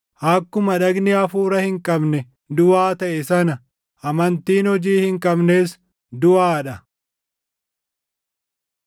Akkuma dhagni hafuura hin qabne duʼaa taʼe sana, amantiin hojii hin qabnes duʼaa dha.